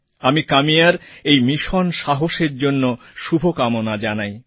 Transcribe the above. আমি কাম্যার এই মিশন সাহসএর জন্য শুভকামনা জানাই